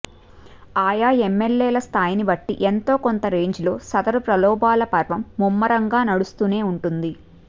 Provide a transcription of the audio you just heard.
ఆయా ఎమ్మెల్యేల స్థాయిని బట్టి ఎంతో కొంత రేంజిలో సదరు ప్రలోభాల పర్వం ముమ్మరంగా నడుస్తూనే ఉంటుంది